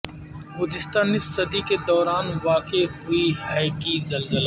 گزشتہ نصف صدی کے دوران واقع ہوئی ہے کہ زلزلے